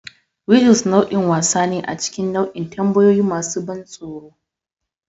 Riddles nau'in wasa ne a cikin nau'in tambayoyi masu ban tsoro.